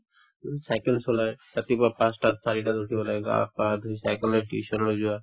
উম, cycle চলাই ৰাতিপুৱা পাঁচটাত চাৰিটাত উঠি পেলাই গা পা ধুই cycle লৈ tuition লৈ যোৱা